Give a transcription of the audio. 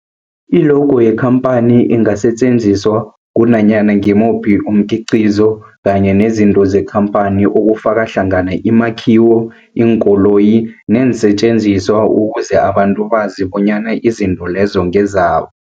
I-logo yekhamphani ingasetjenziswa kunanyana ngimuphi umkhiqizo kanye nezinto zekhamphani okufaka hlangana imakhiwo, iinkoloyi neensentjenziswa ukuze abantu bazi bonyana izinto lezo ngezabo.